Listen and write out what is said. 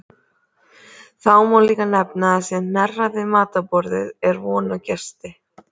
Þá má líka nefna að sé hnerrað við matarborðið er von á gesti.